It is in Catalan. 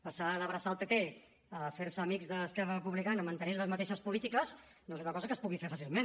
passar d’abraçar el pp a fer se amics d’esquerra republicana mantenint les mateixes polítiques no és una cosa que es pugui fer fàcilment